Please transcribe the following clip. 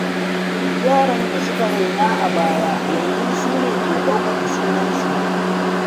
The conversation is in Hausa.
Yaran da suka raina a baya yanzu sune ke ɗaukaka sunansu.